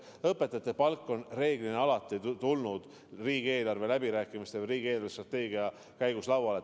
Õpetajate palk on reeglina alati tulnud riigieelarve läbirääkimiste või riigi eelarvestrateegia arutelu käigus lauale.